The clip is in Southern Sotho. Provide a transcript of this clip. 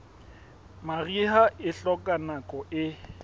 mariha e hloka nako e